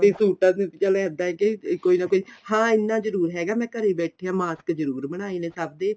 ਹੁਣ ਤਾਂ ਫੇਰ ਵੀ ਚੱਲ ਇੱਦਾਂ ਕੀ ਕੋਈ ਨਾ ਕੋਈ ਹਾਂ ਇੰਨਾ ਜਰੂਰ ਹੈਗਾ ਮੈਂ ਘਰੇ ਬੈਠੀ ਏ mask ਜਰੂਰ ਬਣਾਏ ਨੇ ਸਭ ਦੇ